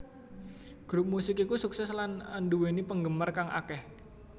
Grup musik iku sukses lan anduweni penggemar kang akeh